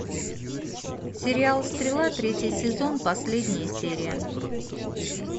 сериал стрела третий сезон последняя серия